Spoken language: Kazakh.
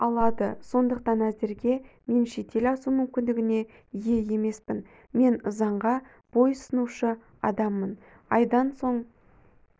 алады сондықтан әзірге мен шетел асу мүмкіндігіне ие емеспін мен заңға бойұсынушы адаммын айдан соң